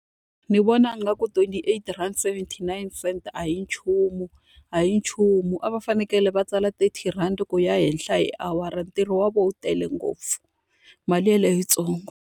Ni vona nga ku twenty eight rand seventy nine cent a hi nchumu, a hi nchumu a va fanekele va tsala thirty rand ku ya henhla hi awara. Ntirho wa vona wu tele ngopfu, mali yeleyo i yi ntsongo.